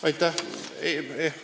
Aitäh!